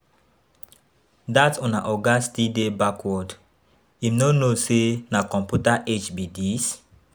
Dat una oga still dey backward, im no know say na computer age be dis?